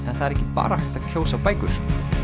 en það er ekki bara hægt að kjósa bækur